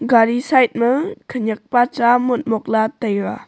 gari side ma khenek pa cha motmok la taiga.